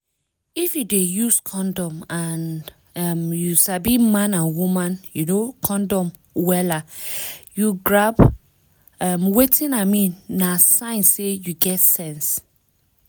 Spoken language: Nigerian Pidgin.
if you dey use condom and um you sabi man and woman um condom wella you grab um wetin i mean na sign say you get sense